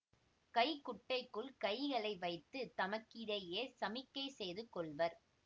கை குட்டைக்குள் கைகளை வைத்து தமக்கிடையே சமிக்கை செய்து கொள்வர்